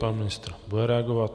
Pan ministr bude reagovat.